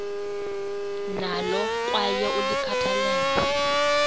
nalo kwaye ulikhathalele